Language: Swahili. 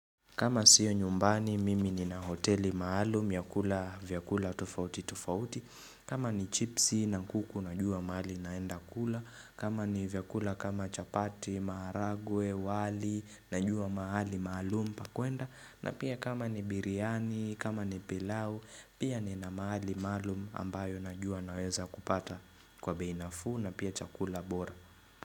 Kama sio nyumbani, mimi nina hoteli maalum ya kula vyakula tofauti tofauti. Kama ni chipsi na kuku, najua mahali naenda kula. Kama ni vyakula kama chapati, maharagwe, wali, najua mahali maalum pakwenda. Na pia kama ni biriani, kama ni pilau, pia ni na mahali maalum ambayo najua naweza kupata kwa bei nafuu na pia chakula bora.